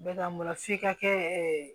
Bɛ ka mura f'i ka kɛ